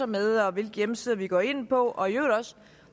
med og hvilke hjemmesider vi går ind på og i øvrigt også